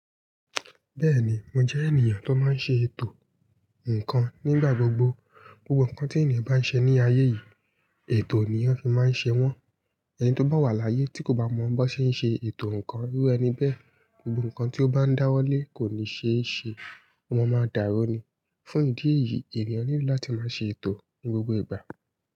Bẹ́ẹ̀ni, mo jẹ́ ènìyàn tó máa ń ṣe ètò ǹkan nígbà gbogbo. Gbogbo ǹkan tí ènìyàn bá ń ṣe ní ayé yìí, ètò ni eyan fi máa ń ṣe wọ́n. Ẹni tó bá wà láyé tí kò bá mọ̀ bi wón ṣe ń ṣe ètò ǹkan, irú ẹni bẹ́ẹ̀, gbogbo ǹkan tí ó bá ń dáwọ́ lé kò ní ṣe é ṣe. Ọ ma máa dàrú ní. Fún ìdí èyí, ènìyàn nílò láti máa ṣe ètò ní gbogbo ìgbà.